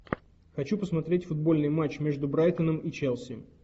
хочу посмотреть футбольный матч между брайтоном и челси